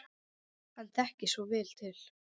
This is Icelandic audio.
Hann þekkir svo vel til.